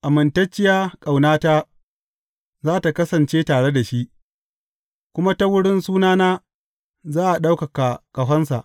Amintacciya ƙaunata za tă kasance tare da shi, kuma ta wurin sunana za a ɗaukaka ƙahonsa.